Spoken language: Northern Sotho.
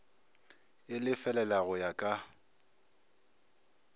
e lefelela go ya ka